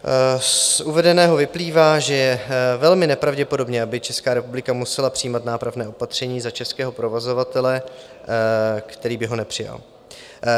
Z uvedeného vyplývá, že je velmi nepravděpodobné, aby Česká republika musela přijímat nápravné opatření za českého provozovatele, který by ho nepřijal.